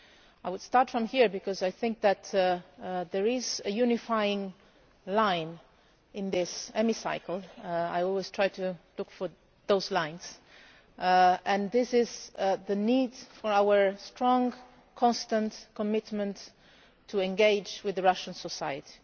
I would start from here, because I think there is a unifying line in this Hemicycle I always try to look for such lines and this is the need for our strong, constant commitment to engage with Russian society.